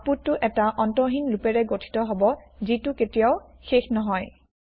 আউতপুতটো এটা অন্তহিন লুপেৰে গঠিত হব যিটো কেতিয়াও শেষ নহয়